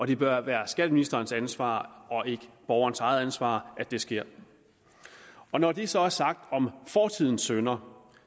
det bør være skatteministerens ansvar og ikke borgerens eget ansvar at det sker når det så er sagt om fortidens synder